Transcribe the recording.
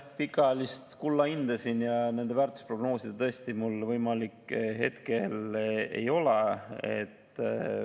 Pikaajaliselt kulla hinda ja seda väärtust prognoosida mul tõesti siin hetkel võimalik ei ole.